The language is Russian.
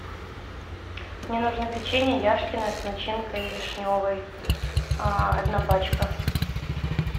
мне нужно печенье яшкино с начинкой вишневой одна пачка